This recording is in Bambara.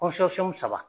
saba